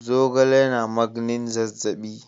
Zogale yana magnin zazzabi.